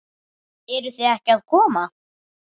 Eruð þið ekki að koma?